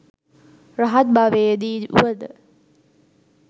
රහත් භවයේදී වුවද